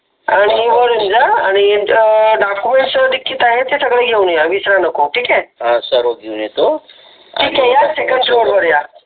आणि वर येऊन जा आणि डोकमेण्ट सगळे लिखित आहेत सर्व घेऊन या विसरायला नको